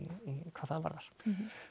hvað það varðar